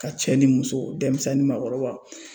Ka cɛ ni muso dɛmisɛn ni maakɔrɔba